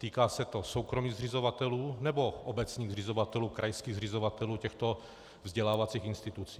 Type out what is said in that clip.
Týká se to soukromých zřizovatelů, nebo obecních zřizovatelů, krajských zřizovatelů těchto vzdělávacích institucí?